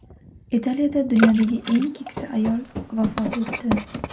Italiyada dunyodagi eng keksa ayol vafot etdi.